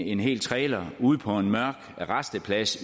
en hel trailer ude på en mørk rasteplads